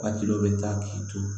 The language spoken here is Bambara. Waati dɔ bɛ taa k'i to